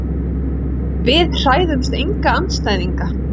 Við hræðumst enga andstæðinga.